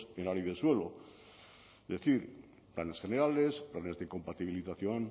en la ley del suelo es decir planes generales planes de compatibilización